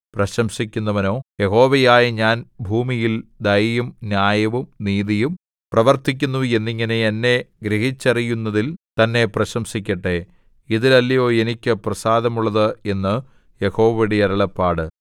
പ്രശംസിക്കുന്നവനോ യഹോവയായ ഞാൻ ഭൂമിയിൽ ദയയും ന്യായവും നീതിയും പ്രവർത്തിക്കുന്നു എന്നിങ്ങനെ എന്നെ ഗ്രഹിച്ചറിയുന്നതിൽ തന്നെ പ്രശംസിക്കട്ടെ ഇതിൽ അല്ലയോ എനിക്ക് പ്രസാദമുള്ളത് എന്നു യഹോവയുടെ അരുളപ്പാട്